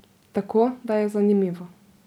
Tako da je zanimivo.